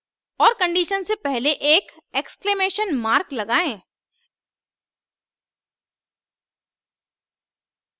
और condition से पहले एक एक्सक्लेमेशन mark लगाएं